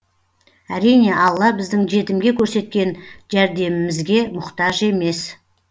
әрине алла біздің жетімге көрсеткен жәрдемімізге мұқтаж емес